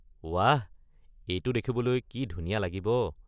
ৱাহ! এইটো দেখিবলৈ কি ধুনীয়া লাগিব।